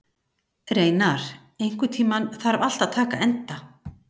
Reynar, einhvern tímann þarf allt að taka enda.